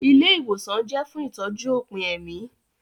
Ilé ìwòsàn jẹ́ fún ìtọ́jú òpin ẹ̀mí